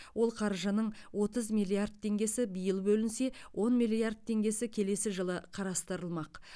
ол қаржының отыз миллиард теңгесі биыл бөлінсе он миллиард теңгесі келесі жылы қарастырылмақ